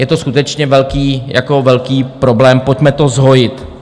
Je to skutečně velký problém, pojďme to zhojit.